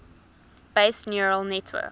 based neural network